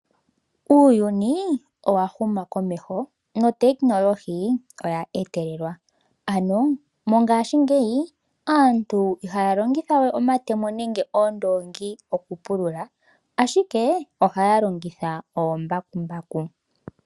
Uuyuni owa huma komeho, nuutekinolohi owa etelelwa. Ano mongashingeyi aantu ihaa longitha we omatemo nenge oondoongi okupulula, ashike ohaa longitha omambakumbaku.